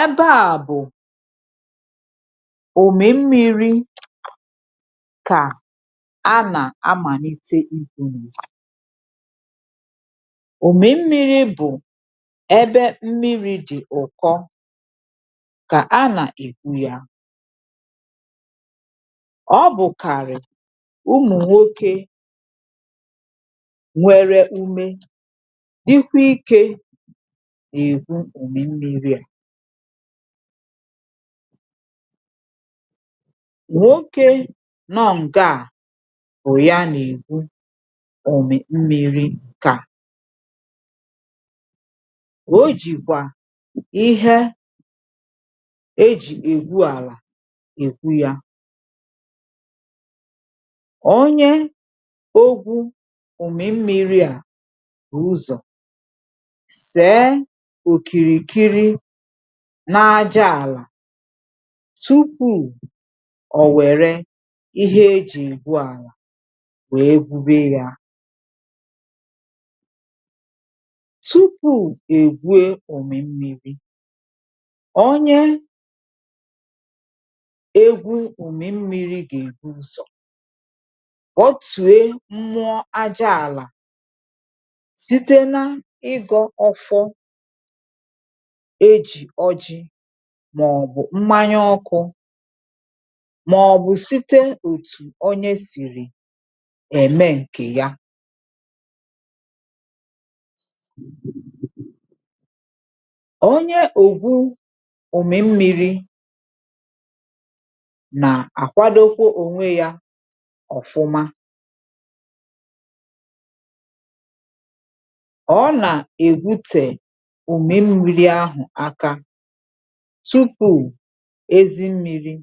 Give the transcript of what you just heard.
Ebe a bụ̀ ụmì mmiri kà a nà-amàlite ikwu̇ nu, ụmì mmi̇ri̇ bụ̀ ebe mmiri̇ dị̀ ụ̀kọ kà a nà-ègwu ya, ọ bụ̀kàrị̀ ụmụ̀nwokė nwere ume dịkwȧ ikė na-egwu ụmì mmiri a. Nwoke nọ ǹgaà bú ya na-egwu ụmì mmìri ǹke à, ọ jikwa ihe ejì ègwu àlà ègwu yȧ ónyé ogwụ ụmi mmiri a bú ụzọ se okirikiri n’aja àlà tupu̇ ọ̀ wère ihe ejì egwu àlà wee gwube ya tụpụ egwu ụmi mmiri, onye egwu ụmi mmiri gà-èbu ụzọ kpotue mmụọ aja ala site na-igo ọfọ eji oji màọ̀bụ̀ mmanya ọkụ̇ màọ̀bụ̀ site òtù onye sìrì ème ǹkè ya ónyé ogwụ ụmi mmiri na-akwadokwa onwe ya ofụma ọ na-egwute ụmi mmiri ahụ aka tupu̇ ezi mmiri̇